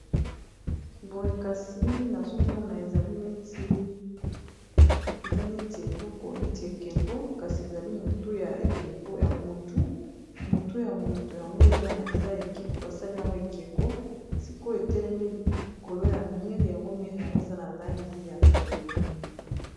Boye kasi nazomona eza neti eloko neti ekeko kasi ezali motuya motu motu ya motu yango eza ekeko, basali yango ekeko sikoyo etelemi likolo ya mire yango mire yango eza na langi ya pembe.